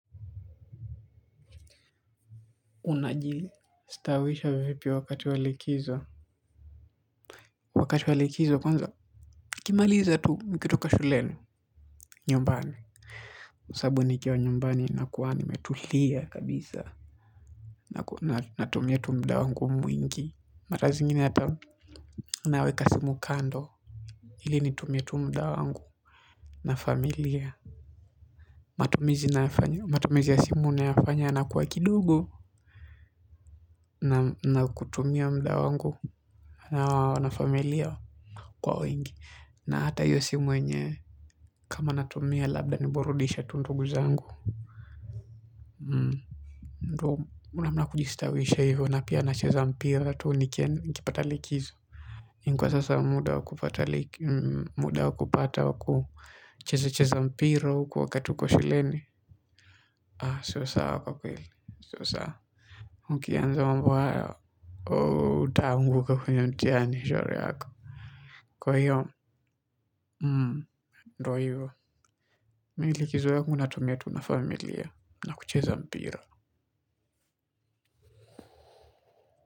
Unajistawisha vipi wakati wa likizo? Wakati wa likizo kwanza nikimaliza tu, nikitoka shule, nyumbani. Sabu nikiwa nyumbani nakuwa nimetulia kabisa, natumia tu mda wangu mwingi mara zingine hata naweka simu kando ili nitumie tu mda wangu na familia, matumizi ya simu nayafanya yanakuwa kidogo. Na kutumia mda wangu na familia kwa wengi, na hata hiyo simu yenyewe. Kama natumia labda ni burudishe tu ndugu zangu. Ndo unamna wa kujistawisha hivyo na pia nacheza mpira tu nikipata likizo. Lakini kwa sasa muda wa kupata liki, muda wakupata wa kucheza cheza mpira huko wakati uko shuleni, siyo sawa kwa kweli, siyo sawa. Mkianza mambo hayo utaanguka kwenye mtihani, shauri yako. Kwa hiyo, ndo hivo, Mi likizo yangu natumia tu na familia, na kucheza mpira.